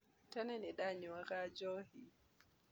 Tene nĩ ndanyuaga njohi